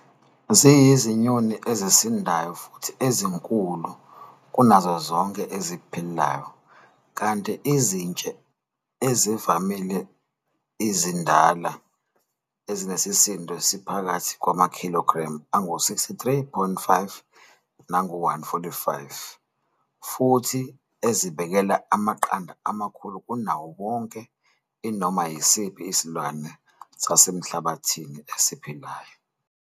Ziyizinyoni ezisindayo futhi ezinkulu kunazo zonke eziphilayo, kanti izintshe ezivamile ezindala ezinesisindo esiphakathi kwamakhilogremu angu-63.5 nangu-145 futhi ezibekela amaqanda amakhulu kunawo wonke anoma yisiphi isilwane sasemhlabathini esiphilayo.